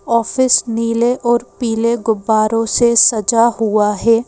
Office नीले और पीले गुब्बारों से सजा हुआ है।